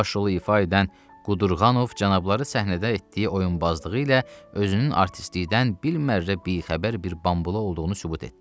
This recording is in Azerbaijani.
Baş rolu ifa edən Qudurqanov cənabları səhnədə etdiyi oyunbazlığı ilə özünün artistlikdən bilmərrə bixəbər bir bambula olduğunu sübut etdi.